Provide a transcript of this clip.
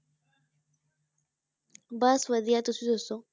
ਬਸ ਵਧੀਆ, ਤੁਸੀਂ ਦੱਸੋ?